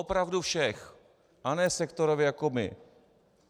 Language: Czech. Opravdu všech, a ne sektorově jako my.